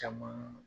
Caman